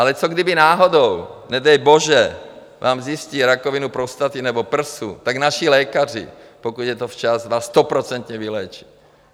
Ale co kdyby náhodou, nedej bože, vám zjistí rakovinu prostaty nebo prsu, tak naši lékaři, pokud je to včas, vás stoprocentně vyléčí.